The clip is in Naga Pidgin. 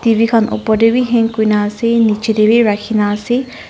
T_V opor te bi hang kurikena ase nichey te bi rakhikena ase.